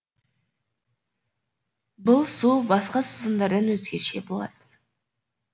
бұл су басқа сусындардан өзгеше болатын